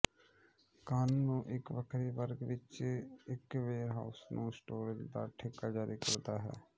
ਕਾਨੂੰਨ ਨੂੰ ਇੱਕ ਵੱਖਰੇ ਵਰਗ ਵਿੱਚ ਇੱਕ ਵੇਅਰਹਾਊਸ ਨੂੰ ਸਟੋਰੇਜ਼ ਦਾ ਠੇਕਾ ਜਾਰੀ ਕਰਦਾ ਹੈ